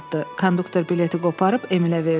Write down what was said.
Konduktor bileti qoparıb Emilə verdi.